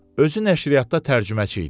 Özü nəşriyyatda tərcüməçi idi.